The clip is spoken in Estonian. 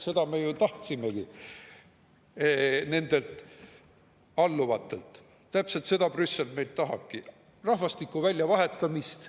Seda nad ju tahavadki oma alluvatelt, täpselt seda Brüssel meilt tahabki – rahvastiku väljavahetamist.